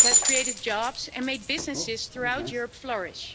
It has created jobs and made businesses throughout Europe flourish.